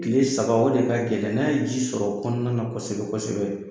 Tile saba o de ka gɛlɛn, n'a ye ji sɔrɔ o kɔnɔna na kosɛbɛ kosɛbɛ.